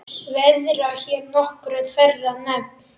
Verða hér nokkur þeirra nefnd.